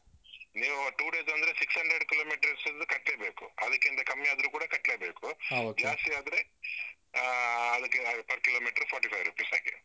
ನೀವು two days ಅಂದ್ರೆ six hundred kilometer ಅಷ್ಟು ಕಟ್ಲೇಬೇಕು. ಅದಕ್ಕಿಂತ ಕಮ್ಮಿ ಆದ್ರೂ ಕೂಡ ಕಟ್ಲೇಬೇಕು ಜಾಸ್ತಿ ಆದ್ರೆ ಆಹ್ ಅದಕ್ಕೆ per kilometer forty-five rupees ಹಾಗೆ.